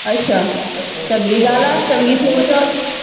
ਅੱਛਾ, ਚੰੰਗੀ ਗੱਲ ਐੈ, ਚੰਗੀ ਸੋਚ ਐ ਓਦੀ।